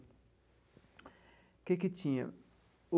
O que que tinha?